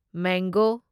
mango